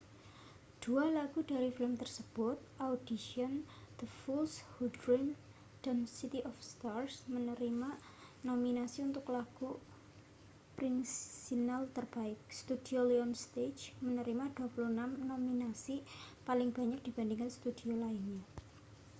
dua lagu dari film tersebut audition the fools who dream dan city of stars menerima nominasi untuk lagu orisinal terbaik. studio lionsgate menerima 26 nominasi — paling banyak dibanding studio lainnya